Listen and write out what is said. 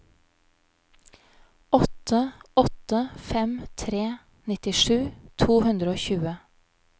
åtte åtte fem tre nittisju to hundre og tjue